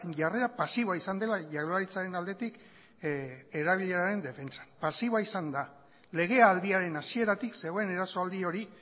jarrera pasiboa izan dela jaurlaritzaren aldetik erabileraren defentsan pasiboa izan da legealdiaren hasieratik zegoen erasoaldi hori